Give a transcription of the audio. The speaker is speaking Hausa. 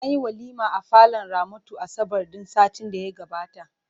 Anyi walima a falon Ramatu asabar ɗin satin da ya gabata.